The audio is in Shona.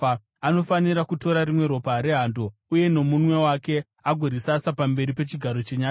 Anofanira kutora rimwe ropa rehando uye nomunwe wake agorisasa pamberi pechigaro chenyasha.